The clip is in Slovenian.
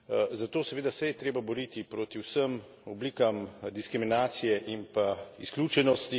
Zato seveda se je treba boriti proti vsem oblikam diskriminacije in pa izključenosti.